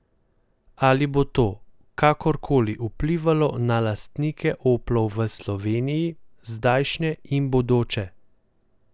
Ali bo to kakorkoli vplivalo na lastnike oplov v Sloveniji, zdajšnje in bodoče?